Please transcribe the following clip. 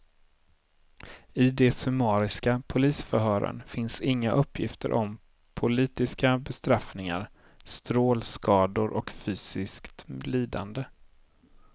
I de summariska polisförhören finns inga uppgifter om politiska bestraffningar, strålskador och fysiskt lidande.